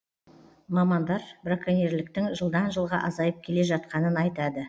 мамандар браконьерліктің жылдан жылға азайып келе жатқанын айтады